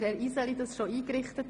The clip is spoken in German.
Wir können so vorgehen.